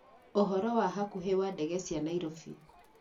ũhoro wa hakuhe wa ndege cia Nairobi